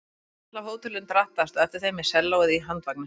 Húskarl af hótelinu drattaðist á eftir þeim með sellóið á handvagni.